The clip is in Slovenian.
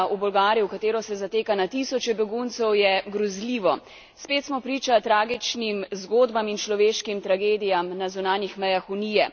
Spet smo priča tragičnim zgodbam in človeškim tragedijam na zunanjih mejah Unije. Strinjam se, da je na preizkusu naša evropska solidarnost.